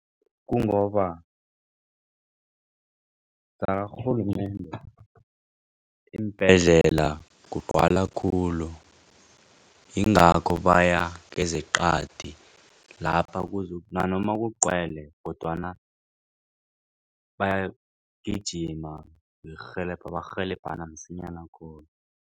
Kungoba zakarhulumende iimbhedlela kugcwala khulu. Yingakho baya kezeqadi lapha kuzokuthi nanoma kugcwele kodwana barhelebhana msinyana khulu.